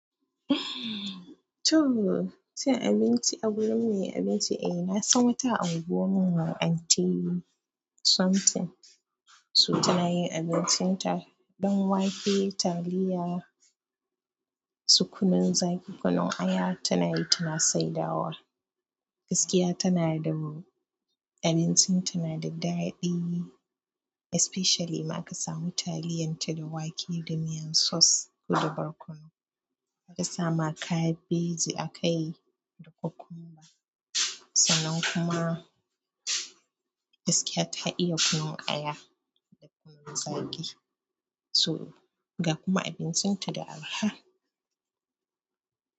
To, cin abinci a gurin mai abinci eh, nasan wata a unguwar mu, Anti Something. So, tana yin abincin ta ɗanwake, taliya, su kunan zaƙi, kunun aya tana yi tana saidawa. Gaskiya tana da mu. Abincinta nada daɗi especially ma ka samu taliyan ta da wake da miyan sauce ko da barkono. Ta sama ma kabeji akai da cucumber, sannan kuma gaskiya ta iya kunun aya da kunun zaƙi. So, ga kuma abincin ta da araha.